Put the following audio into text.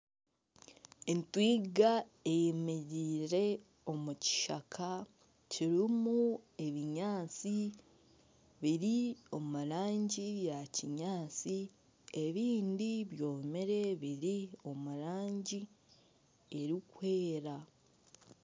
Etwiga eyemereire omu kishaka kirimu ebinyaatsi biri omu ranngi ya kinyaatsi ebindi byomire biri omu rangi erikwera